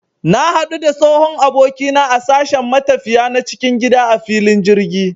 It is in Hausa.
Na hadu da tsohon abokina na a sashen matafiya na cikin gida a filin jirgi